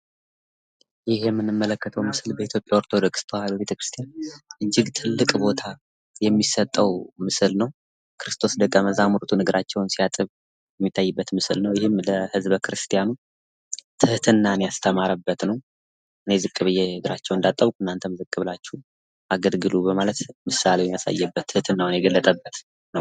ይህ የምንመለከተው ምስል በኢትዮጵያ ኦርቶዶክስ ተዋህዶ ቤተክርስቲያን እጅግ ትልቅ ቦታ የሚሰጠው ምስል ነው። ክርስቶስ ደቀመዛሙርቱን እግራቸውን ሲያጥብ የሚታይበት ምስል ነው። ይህም ለህዝበ ክርስቲያኑ ትህትናን ያስተማረበት ነው። እኔ ዝቅ ብዬ እግራቸውን እንዳጠብኩ እናተም ዝቅ ብላቺሁ አገልግሉ በማለት ምሳሌውን ያሳዬበት ትህትናውን የገለፀበት ነው።